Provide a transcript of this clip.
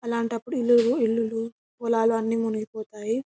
అలంటి అప్పుడు ఇల్లులు పొలాలు అన్ని మునిగి పోతాయి.